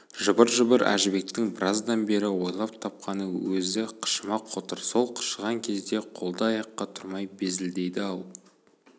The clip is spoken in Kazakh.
жыбыр-жыбыр әжібектің біраздан бері ойлап тапқаны өзі қышыма қотыр сол қышыған кезде қолды-аяққа тұрмай безілдейді-ау